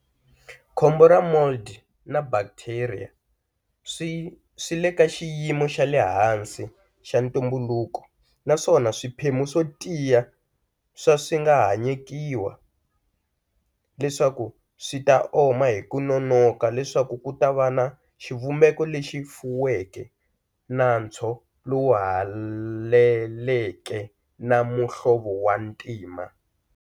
Khombo ra mold na bacteria swile ka xiyimo xale hansi xa ntumbuluko, naswona swiphemu swo tiya swa swinga hayekiwa leswaku swita oma hiku nonoka leswaku kutava na xivumbeko lexi fuweke, nantswo lowu heleleke, na muhlovo wa ntima.